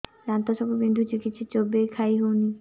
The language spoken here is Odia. ଦାନ୍ତ ସବୁ ବିନ୍ଧୁଛି କିଛି ଚୋବେଇ ଖାଇ ହଉନି